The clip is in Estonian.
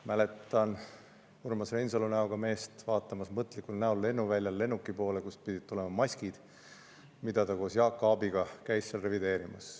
Mäletan Urmas Reinsalu näoga meest vaatamas mõtlikul näol lennuväljal lennuki poole, kust pidid tulema maskid, mida ta koos Jaak Aabiga käis seal revideerimas.